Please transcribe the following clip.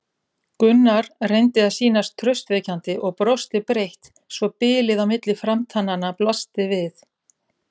Gunnar reyndi að sýnast traustvekjandi og brosti breitt svo bilið á milli framtannanna blasti við.